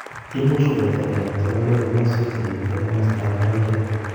Imuch koletagei notok akoi komaswek chenegite ak komasatak bo magatet